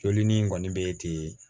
Joli nin kɔni bɛ ten